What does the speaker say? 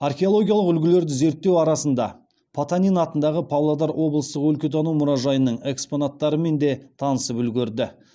археологиялық үлгілерді зерттеу арасында потанин атындағы павлодар облыстық өлкетану мұражайының экспонаттарымен де танысып үлгерді